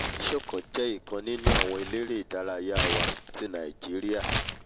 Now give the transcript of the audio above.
adesokan jẹ́ ọ̀kan nínú àwọn eléré ìdárayá wa tí nàìjíríà